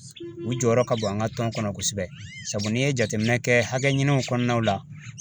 U jɔyɔrɔ ka bon an ka tɔn kɔnɔ kosɛbɛ sabu n'i ye jateminɛ kɛ hakɛ ɲiniw kɔnɔna la